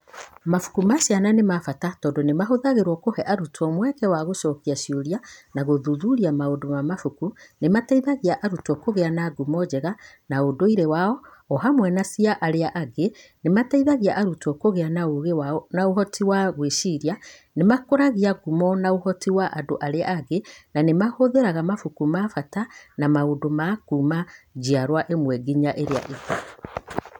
Mabuku ma ciana nĩ ma bata tondũ nĩ mahũthagĩrũo kũhe arutwo mweke wa gũcokia ciũria na gũthuthuria maũndũ ma mabuku; nĩ mateithagia arutwo kũgĩa na ngumo njega cia ũndũire wao o hamwe na cia andũ arĩa angĩ; nĩ mateithagia arutwo kũgĩa na ũũgĩ na ũhoti wa gwĩciria; nĩ makũragia ngumo na ũhoti wa andũ arĩa angĩ; na nĩ mahũthagĩra mabuku ma bata na maũndũ mangĩ kuuma njiarũa ĩmwe nginya ĩrĩa ĩngĩ.